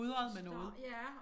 Står ja